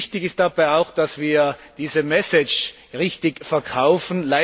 Wichtig ist dabei auch, dass wir diese richtig verkaufen.